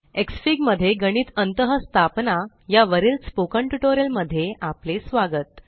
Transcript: एक्सफीग मध्ये गणित अंतःस्थापना या वरील स्पोकन ट्यूटोरियल मध्ये आपले स्वागत